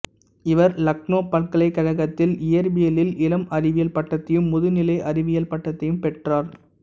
இவர் இலக்னோ பல்கலைக்கழகத்தில் இயற்பியலில் இளம் அறிவியல் பட்டத்தையும் முதுநிலை அறிவியல் பட்டத்தையும் பெற்றார்